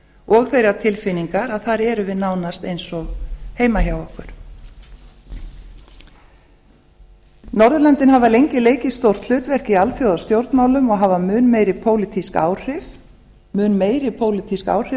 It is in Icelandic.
og þeirrar tilfinningar að þar erum við nánast eins og heima hjá okkur norðurlöndin hafa lengi leikið stórt hlutverk í alþjóðastjórnmálum og hafa mun meiri pólitísk áhrif en